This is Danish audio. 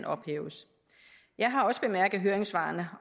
ophæves jeg har også bemærket høringssvarene